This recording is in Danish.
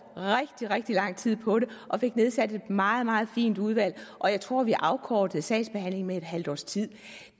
rigtig rigtig lang tid på det og fik nedsat et meget meget fint udvalg og jeg tror at vi afkortede sagsbehandlingen med et halvt års tid